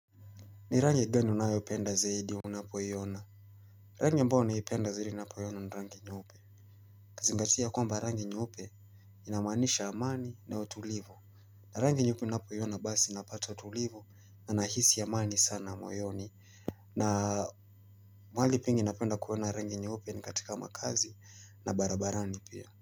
Ni rangi gani unayopenda zaidi unapoiona. Rangi ambayo naipenda zaidi ninapoiona ni rangi nyeupe. Kazingatia kwamba rangi nyeupe inamaanisha amani na utulivu. Na rangi nyeupe ninapoiona basi napata utulivu na nahisi amani sana moyoni. Na mahali pengi napenda kuona rangi nyeupe ni katika makazi na barabarani pia.